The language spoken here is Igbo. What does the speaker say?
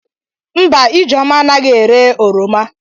Mba Ijeoma anaghi ere oroma.